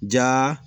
Ja